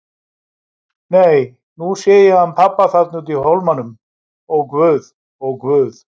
Nei, nú sé ég hann pabba þarna úti í hólmanum, ó guð, ó guð.